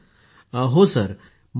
Poonam Nautiyal जी